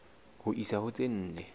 ho isa ho tse nne